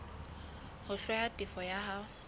ho hlwaya tefo ya hao